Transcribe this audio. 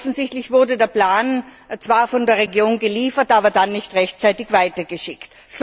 Offensichtlich wurde der Plan zwar von der Regierung geliefert, aber dann nicht rechtzeitig weitergeschickt.